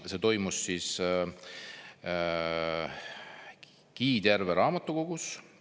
See toimus Kiidjärve raamatukogus.